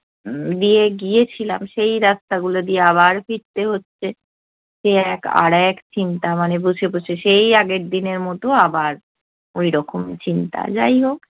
দিয়ে গিয়েছিলাম সেই রাস্তা গুলো দিয়ে আবার ফিরতে হচ্ছে। সে এক আরেক চিন্তা মানে বসে বসে সেই আগের দিনের মতো আবার ওইরকম চিন্তা। যাই হোক